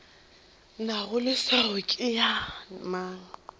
nago leswao ke ya mang